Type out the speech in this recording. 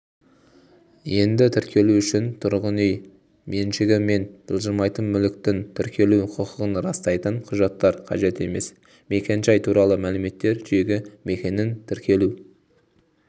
енді тіркелу үшін тұрғын үй меншігі мен жылжымайтын мүліктің тіркелу құқығын растайтын құжаттар қажет емес мекенжай туралы мәліметтер жүйеге мекеннің тіркелу